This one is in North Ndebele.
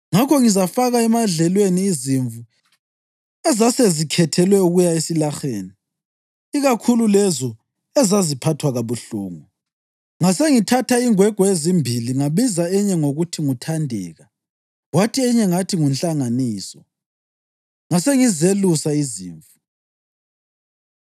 Ngakho ngizafaka emadlelweni izimvu ezasezikhethelwe ukuya esilaheni, ikakhulu lezo ezaziphathwa kabuhlungu. Ngasengithatha ingwegwe ezimbili ngabiza enye ngokuthi nguThandeka kwathi enye ngathi nguNhlanganiso, ngasengizelusa izimvu.